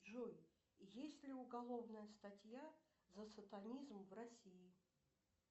джой есть ли уголовная статья за сатанизм в россии